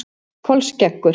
Kolskeggur